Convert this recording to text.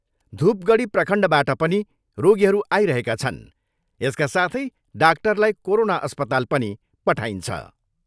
धुपगढी प्रखण्डबाट पनि रोगीहरू आइरहेका छन्, यसका साथै डाक्टरलाई कोरोना अस्पताल पनि पठाइन्छ।